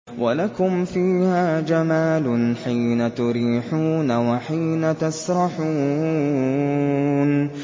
وَلَكُمْ فِيهَا جَمَالٌ حِينَ تُرِيحُونَ وَحِينَ تَسْرَحُونَ